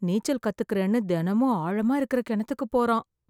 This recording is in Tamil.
நீச்சல் கத்துக்கிறேன்னு தினமும் ஆழமா இருக்குற கிணத்துக்கு போறான்.